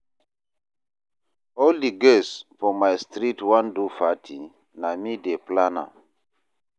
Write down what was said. All di girls for my street wan do party, na me dey plan am.